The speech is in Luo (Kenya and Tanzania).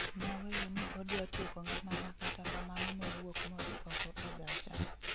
Naweyo ni odwa tieko ngimana kata kamano nowuok modhi oko e gacha